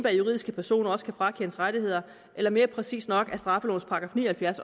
at juridiske personer også kan frakendes rettigheder eller mere præcist at straffelovens § ni og halvfjerds